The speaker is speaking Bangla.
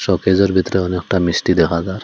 শকেসের ভেতরে অনেকটা মিষ্টি দেখা জার।